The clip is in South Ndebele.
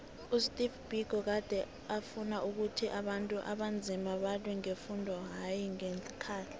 usteve biko gade afuna ukhuthi abantu abanzima balwe ngefundo hayi ngeenkhali